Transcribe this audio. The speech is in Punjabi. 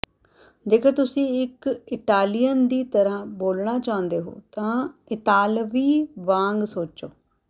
ਜੇਕਰ ਤੁਸੀਂ ਇੱਕ ਇਟਾਲੀਅਨ ਦੀ ਤਰ੍ਹਾਂ ਬੋਲਣਾ ਚਾਹੁੰਦੇ ਹੋ ਤਾਂ ਇਤਾਲਵੀ ਵਾਂਗ ਸੋਚੋ